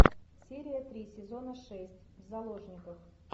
серия три сезона шесть в заложниках